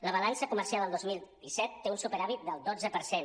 la balança comercial el dos mil disset té un superàvit del dotze per cent